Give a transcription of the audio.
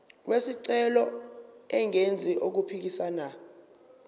wesicelo engenzi okuphikisana